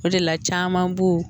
O de la caman b'o